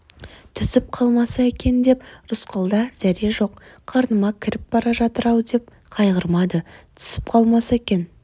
түсіп қалмаса екен деп рысқұлда зәре жоқ қарныма кіріп бара жатыр-ау деп қайғырмады түсіп қалмаса екен